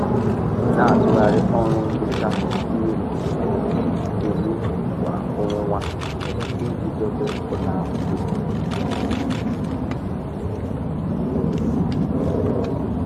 Na-atụgharị ọrụ nhicha miri um emi kwa ọnwa iji dobe ụlọ ahụ dum nke ọma.